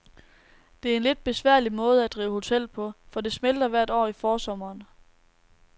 Det er en lidt besværlig måde at drive hotel på, for det smelter hvert år i forsommeren.